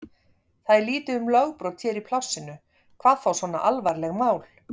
Það er lítið um lögbrot hér í plássinu, hvað þá svona alvarleg mál.